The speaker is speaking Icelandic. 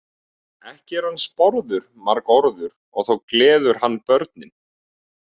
Ekki er hann sporður margorður og þó gleður hann börnin.